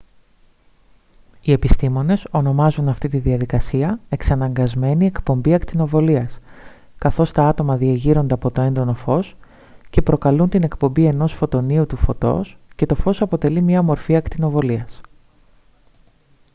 οι επιστήμονες ονομάζουν αυτή την διαδικασία «εξαναγκασμένη εκπομπή ακτινοβολίας» καθώς τα άτομα διεγείρονται από το έντονο φως και προκαλούν την εκπομπή ενός φωτονίου του φωτός και το φως αποτελεί μια μορφή ακτινοβολίας